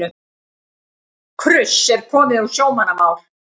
Kruss er komið úr sjómannamál.